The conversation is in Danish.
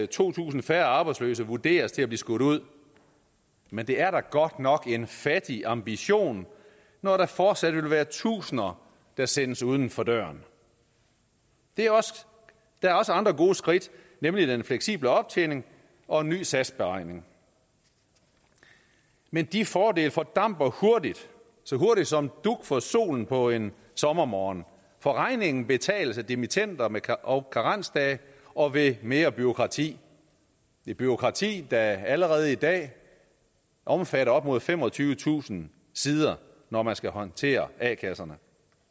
to tusind færre arbejdsløse vurderes til at blive skudt ud men det er da godt nok en fattig ambition når der fortsat vil være tusinder der sættes uden for døren der er også andre gode skridt nemlig den fleksible optjening og en ny satsberegning men de fordele fordamper så hurtigt som dug for solen på en sommermorgen for regningen betales af dimittender og karensdage og ved mere bureaukrati et bureaukrati der allerede i dag omfatter op mod femogtyvetusind sider når man skal håndtere a kasserne